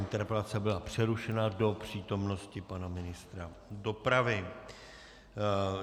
Interpelace byla přerušena do přítomnosti pana ministra dopravy.